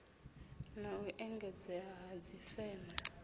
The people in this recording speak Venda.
na u engedzea ha dzifeme